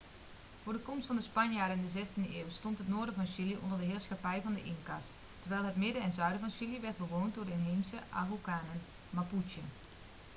voor de komst van de spanjaarden in de 16e eeuw stond het noorden van chili onder de heerschappij van de inca's terwijl het midden en zuiden van chili werd bewoond door de inheemse araucanen mapuche